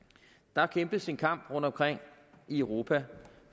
der kæmpes en kamp rundtomkring i europa